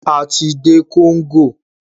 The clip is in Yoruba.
A ti dé Congo.